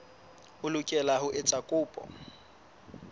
o lokela ho etsa kopo